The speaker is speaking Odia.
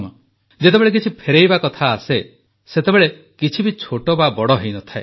ଯେତେବେଳେ କିଛି ଫେରାଇବା କଥା ଆସେ ସେତେବେଳେ କିଛି ବି ଛୋଟ ବା ବଡ଼ ହୋଇନଥାଏ